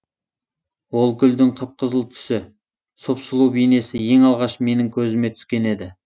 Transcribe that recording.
ол гүлдің қып қызыл түсі сұп сұлу бейнесі ең алғаш менің көзіме түскен еді